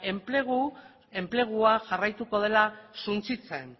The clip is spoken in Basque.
enplegua jarraituko dela suntsitzen